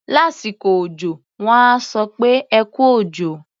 Lásìkò òjọ, wọ́n á sọ pé "ẹ kú òjò".